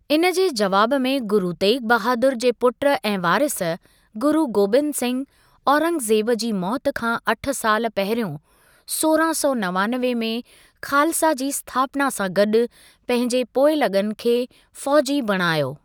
इन जे जवाब में गुरु तेग बहादुर जे पुट ऐं वारिस, गुरु गोबिंद सिंह औरंगज़ेब जी मौति खां अठ साल पहिरियों सोरहां सौ नवानवे में खालसा जी स्थापना सां गॾु, पंहिंजे पोइलॻनि खे फ़ौजी बणायो।